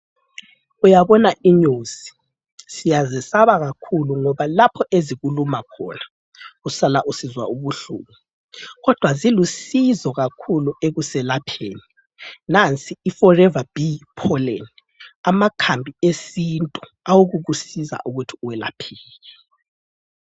Uyabona inyosi siyazesaba kakhulu ngoba lapho ezikuluma khona usala usizwa ubuhlungu kodwa zilusizo kakhulu ekuselapheni. Nansi iforever bee pollen amakhambi esintu awokukusiza ukuthi welapheke.